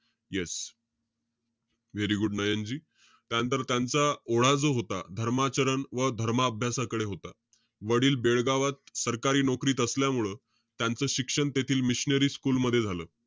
Yes very good Nayanji. त्यानंतर त्यांचा, ओढा जो होता, धर्माचरण व धर्म अभ्यासाकडे होता. वडील बेळगावात सरकारी नोकरीत असल्यामुळं त्यांचं शिक्षण तेथील मिशनरी स्कुल मध्ये झालं.